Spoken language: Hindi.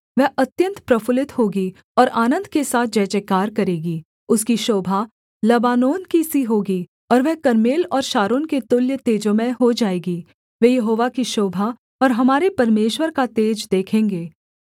वह अत्यन्त प्रफुल्लित होगी और आनन्द के साथ जयजयकार करेगी उसकी शोभा लबानोन की सी होगी और वह कर्मेल और शारोन के तुल्य तेजोमय हो जाएगी वे यहोवा की शोभा और हमारे परमेश्वर का तेज देखेंगे